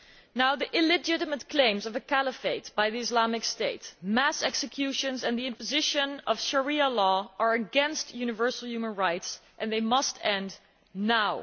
Now the illegitimate claims of the caliphate by the Islamic State, mass executions and the imposition of Sharia law are against universal human rights and they must end now.